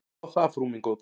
Þá það, frú mín góð.